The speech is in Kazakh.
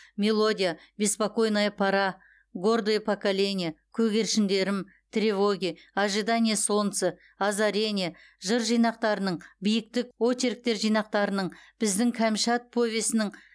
мелодия беспокойная пора гордое поколение көгершіндерім тревоги ожидание солнца озарение жыр жинақтарының биіктік очерктер жинақтарының біздің кәмшат повесінің